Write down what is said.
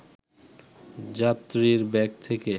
যাত্রীর ব্যাগ থেকে